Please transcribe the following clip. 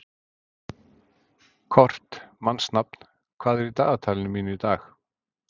Kort (mannsnafn), hvað er í dagatalinu mínu í dag?